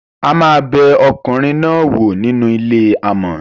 a máa bẹ ọkùnrin náà wò nínú ilé amò.